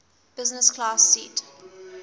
business class seat